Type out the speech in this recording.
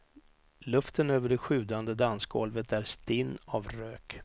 Luften över det sjudande dansgolvet är stinn av rök.